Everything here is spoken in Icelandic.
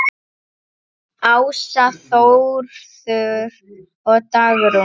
Ása, Þórður og Dagrún.